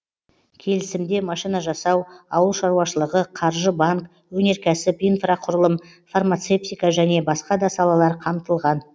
келісімде машина жасау ауыл шаруашылығы қаржы банк өнеркәсіп инфрақұрылым фармацевтика және басқа да салалар қамтылған